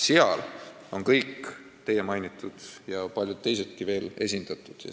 Seal on esindatud kõik teie mainitud ja paljud teisedki veel.